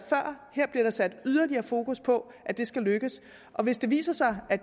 her bliver der sat yderligere fokus på at det skal lykkes og hvis det viser sig at